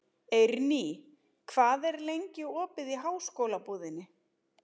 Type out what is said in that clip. Eirný, hvað er lengi opið í Háskólabúðinni?